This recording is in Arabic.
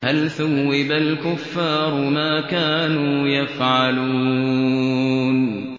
هَلْ ثُوِّبَ الْكُفَّارُ مَا كَانُوا يَفْعَلُونَ